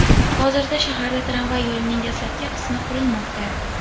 Hozirda shaharda tramvay yo‘lining dastlabki qismi qurilmoqda .